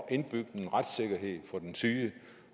at indbygge en retssikkerhed for den syge